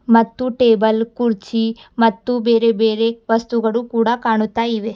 ಮತ್ತು ಟೇಬಲ್ ಕುರ್ಚಿ ಮತ್ತು ಬೇರೆ ಬೇರೆ ವಸ್ತುಗಳು ಕೂಡ ಕಾಣುತ್ತ ಇವೆ.